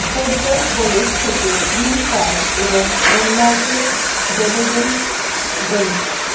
পোড্রন Polish থেকে green card এবং ডেনমার্কের ডেভোজেন ডেমো